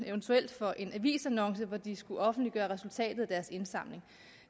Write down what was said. eventuelt for en avisannonce hvor de skal offentliggøre resultatet af deres indsamling